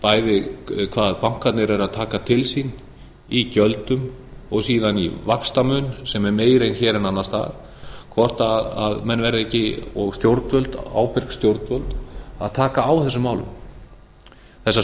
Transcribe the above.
bæði hvað bankarnir eru að taka til sín í gjöldum og síðan í vaxtamun sem er meiri hér en annars staðar hvort menn verða ekki og ábyrg stjórnvöld að taka á þessum málum þessar